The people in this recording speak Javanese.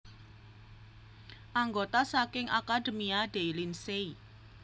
Anggota saking Accademia dei Lincei